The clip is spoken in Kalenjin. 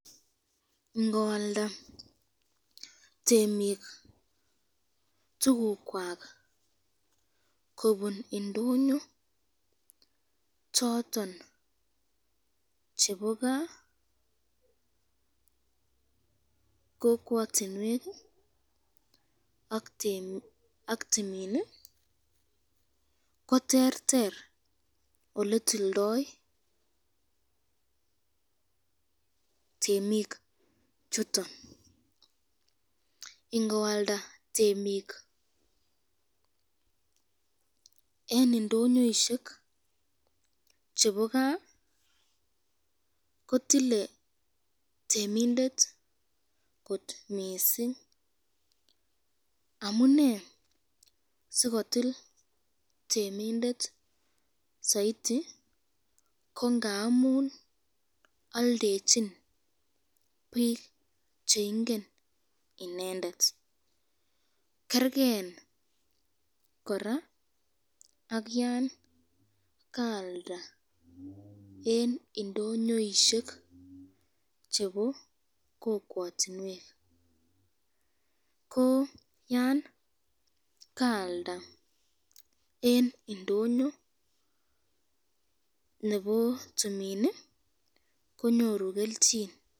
Ngoalda temik tukuwak kobun indonyo choton chebo kaa, kokwatinwek ak timin ,ko terter oletoldoi temik chuton, ingoalda temik eng indonyoishek chebo kaa kotilen temindet kot missing, amune sikotil temindet saiti, ko ngamun aldechin bik cheingen inendet ,kerken koraa ak yan kaakda eng indonyoishek chebo kokwatinwek, ko yan kaalda eng indonyo nebo timin konyoru kelchin.